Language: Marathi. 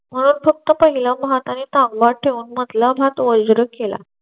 म्हणून फक्त पहिलं ठेवून मधलं केला.